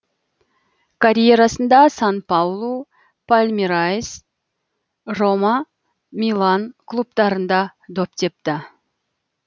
карьерасында сан паулу палмерайс рома милан клубтарында доп тепті